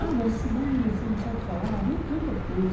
Ah, mas se bem, você não sabe falar, não tem importância.